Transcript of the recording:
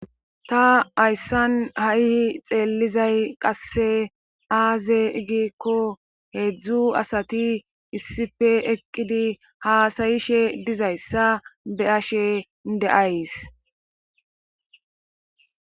ta ayssan hayihi xeellizay qasse aaze igikko heedzdzu asati issife eqqidi haasayishe dizayssa be ashe deays